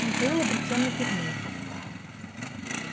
михаил обречённо кивнул